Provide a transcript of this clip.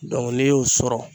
n'i y'o sɔrɔ